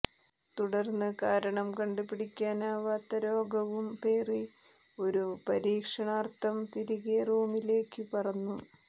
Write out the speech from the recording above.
തുടര്ന്ന് കാരണം കണ്ടുപിടിക്കാനാവാത്ത രോഗവും പേറി ഒരു പരീക്ഷണാര്ത്ഥം തിരികെ റോമിലേക്കു പറന്നു